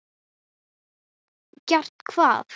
Gert hvað?